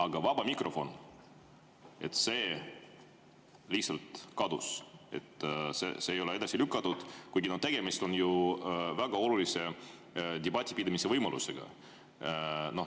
Aga vaba mikrofon lihtsalt kadus, seda ei ole edasi lükatud, kuigi tegemist on väga olulise debati pidamise võimalusega.